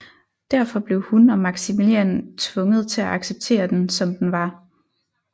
Derfor blev hun og Maximilian tvunget til at acceptere den som den var